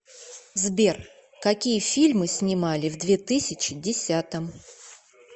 сбер какие фильмы снимали в две тысячи десятом